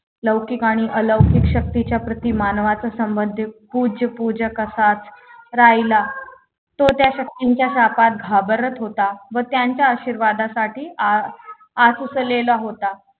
लौकिक आणि अलौकिक शक्तीच्या प्रति मानवाच्या संबंध पूज्य पूजक असा राहिला तो त्या शक्तींच्या कपात घाबरत होता व त्यांच्या आशीर्वादासाठी आसुसलेला होता